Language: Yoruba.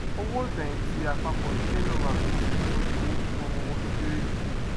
owó ìfẹyìntì àpapọ ìdílé náà má pèsè ìtọjú owó fún ọmọ wọn tó kere jù